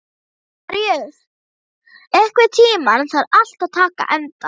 Maríus, einhvern tímann þarf allt að taka enda.